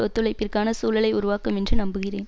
ஒத்துழைப்பிற்கான சூழலை உருவாக்கும் என்று நம்புகிறேன்